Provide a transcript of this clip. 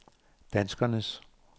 danskernes